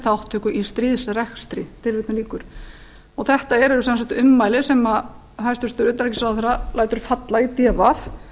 þátttöku í stríðsrekstri þetta eru sem sagt ummæli sem hæstvirtur utanríkisráðherra lætur falla í d v